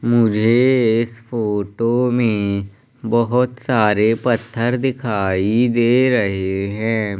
मुझे इस फोटो में बहुत सारे पत्थर दिखाई दे रहे हैं।